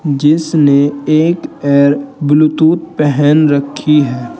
जिसने एक air Bluetooth पहन रखी है।